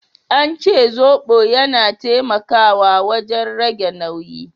An ce zobo yana taimakawa wajen rage nauyi.